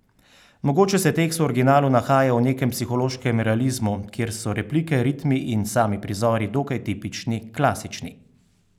Mogoče se tekst v originalu nahaja v nekem psihološkem realizmu, kjer so replike, ritmi in sami prizori dokaj tipični, klasični.